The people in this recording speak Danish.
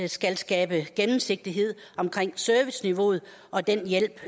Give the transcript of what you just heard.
skal skabe gennemsigtighed omkring serviceniveauet og den hjælp